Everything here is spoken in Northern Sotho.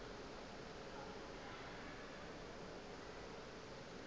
ba be ba leka go